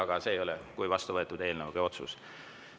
Aga see ei ole vastu võetud kui eelnõu või otsus.